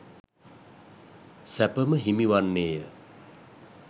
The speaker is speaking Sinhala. සැප ම හිමි වන්නේ ය.